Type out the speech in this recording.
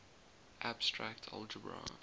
abstract algebra